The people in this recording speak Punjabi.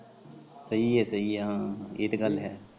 ਸਹੀ ਆ ਸਹੀ ਆ ਹਾਂ ਏ ਤਾਂ ਗੱਲ ਹੈ।